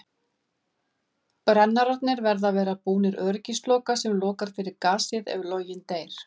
Brennararnir verða að vera búnir öryggisloka sem lokar fyrir gasið ef loginn deyr.